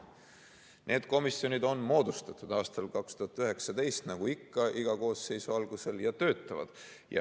Need komisjonid on moodustatud aastal 2019, nagu ikka iga koosseisu alguses, ja need töötavad.